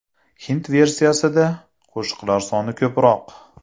Hind versiyasida qo‘shiqlar soni ko‘proq.